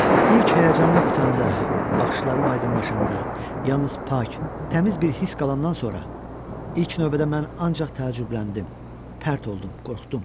İlk həyəcanım ötəndə, baxışlarım aydınlaşanda, yalnız pak, təziz bir hiss qalandan sonra, ilk növbədə mən ancaq təəccübləndim, pərt oldum, qorxdum.